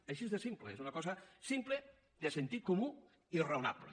així de simple és una cosa simple de sentit comú i raonable